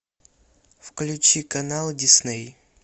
включи канал дисней